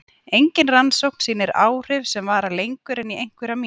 Engin rannsókn sýnir áhrif sem vara lengur en í einhverjar mínútur.